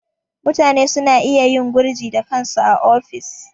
Mutane suna iya yin gurji da kansu a ofis.